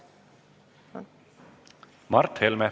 Mart Helme.